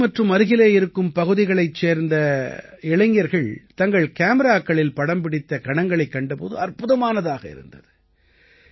காசி மற்றும் அருகிலே இருக்கும் பகுதிகளைச் சேர்ந்த இளைஞர்கள் தங்கள் காமிராக்களில் படம்பிடித்த கணங்களைக் கண்ட போது அற்புதமானதாக இருந்தது